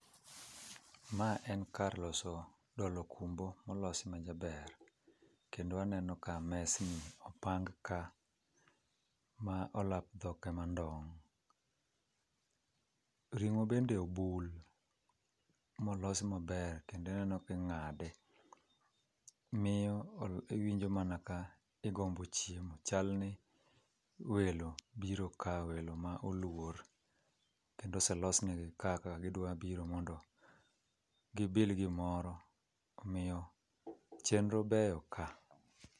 Ma en kar loso dolo okumbo molos majaber. Kendo aneno ka mesni opang ka ma olap dhok ema ndong'. Ringó bende obul ma olos maber, kendo ineno kingáde. Miyo iwinjo mana ka igombo chiemo. Chal ni welo biro ka, welo ma oluor. Kendo oselosnegi kaka gidwabiro mondo gibil gimoro. Omiyo chenro beyo ka.